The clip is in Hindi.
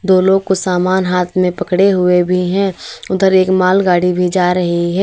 दो लोग को सामान हाथ में पकड़े हुए भी हैं उधर एक माल गाड़ी भी जा रही है।